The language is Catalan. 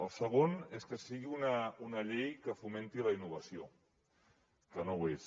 el segon és que sigui una llei que fomenti la innovació que no ho és